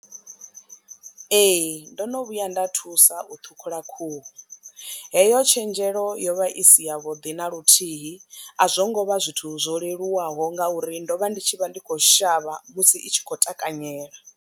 Ee, ndo no vhuya nda thusa u ṱhukhula khuhu heyo tshenzhelo yo vha i si yavhuḓi na luthihi a zwo ngo vha zwithu zwo leluwaho nga uri ndo vha ndi tshi vha ndi kho shavha musi itshi kho takanyela.